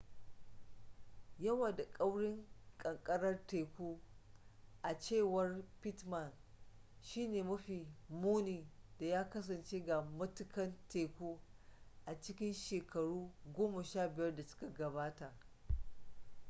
yawa da kaurin kankarar teku a cewar pittman shi ne mafi muni da ya kasance ga matukan teku a cikin shekaru 15 da suka gabata